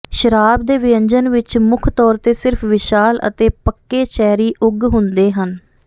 ਸ਼ਰਾਬ ਦੇ ਵਿਅੰਜਨ ਵਿੱਚ ਮੁੱਖ ਤੌਰ ਤੇ ਸਿਰਫ ਵਿਸ਼ਾਲ ਅਤੇ ਪਕ੍ਕ ਚੈਰੀ ਉਗ ਹੁੰਦੇ ਹਨ